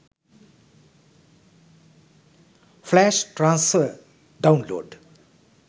flash transfer download